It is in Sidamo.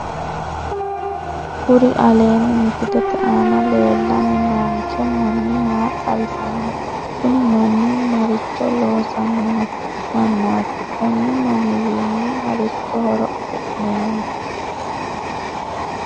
Kuri aleenni misilete aana leellanni noonke manni maa xawisanno kuni manni maricho loosanni noo mannaati konni manniwiinni marichi horo afi'neemmo